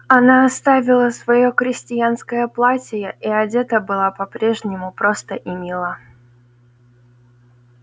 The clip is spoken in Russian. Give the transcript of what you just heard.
она оставила своё крестьянское платье и одета была по-прежнему просто и мило